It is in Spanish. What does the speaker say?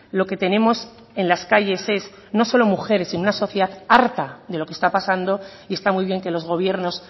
lo que tenemos en las calles es no solo mujeres sino una sociedad harta de lo que está pasando y está muy bien que los gobiernos